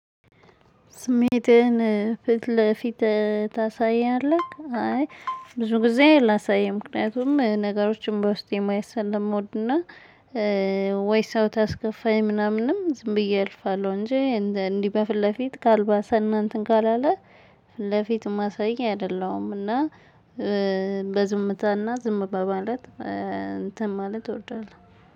ስሜትህን ፊት ለፊት ታሳያለህ አይ ብዙ ጊዜ አላሳይም ምክንያቱም ነገሮችን በውስጤ ማየት ሰለምወድና ወይ ሰው ካስከፋኝ ምናምንም ዝም ብዬ አልፋለሁ። እንጂ እንዲህ በፊት ለፊት ካልባሰና እንትን ካላለ። ፊት ለፊት ማሳይ አይደለም እና በዝምታና ዝም በማለት እንትን ማለት እወዳለሁ